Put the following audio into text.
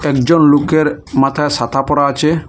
একজন লোকের মাথায় সাতা পরা আচে।